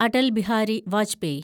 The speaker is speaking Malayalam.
അടൽ ബിഹാരി വാജ്പേയി